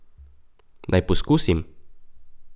Naj poskusim?